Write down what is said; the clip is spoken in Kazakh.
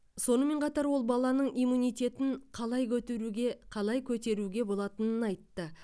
сонымен қатар ол баланың иммунитетін қалай көтеруге қалай көтеруге болатынын айтты